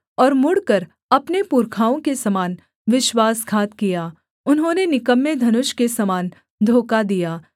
और मुड़कर अपने पुरखाओं के समान विश्वासघात किया उन्होंने निकम्मे धनुष के समान धोखा दिया